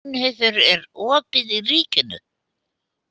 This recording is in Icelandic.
Gunnheiður, er opið í Ríkinu?